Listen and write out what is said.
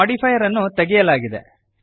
ಈ ಮೋಡಿಫೈಯರ್ ಅನ್ನು ತೆಗೆಯಲಾಗಿದೆ